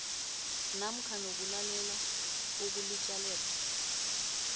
namkha nokulalelwa kokulitjalelwa